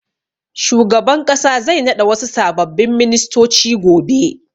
Shugaban ƙasa zai naɗa wasu sababbin ministoci gobe.